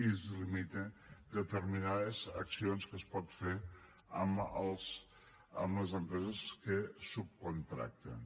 i es limiten determinades accions que es poden fer amb les empreses que subcontracten